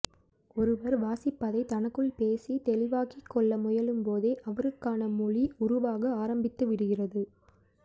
ஒருவர் வாசிப்பதை தனக்குள் பேசி தெளிவாக்கிக்கொள்ள முயலும்போதே அவருக்கான மொழி உருவாக ஆரம்பித்துவிடுகிறது